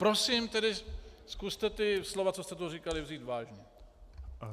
Prosím tedy, zkuste ta slova, která jste tu říkali, vzít vážně.